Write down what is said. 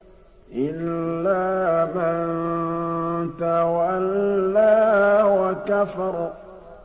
إِلَّا مَن تَوَلَّىٰ وَكَفَرَ